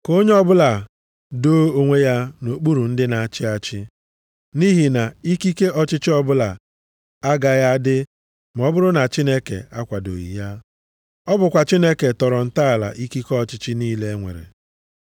Ka onye ọbụla doo onwe ya nʼokpuru ndị na-achị achị, nʼihi na ikike ọchịchị ọbụla agaghị adị ma ọ bụrụ na Chineke akwadoghị ya. Ọ bụkwa Chineke tọrọ ntọala ikike ọchịchị niile e nwere.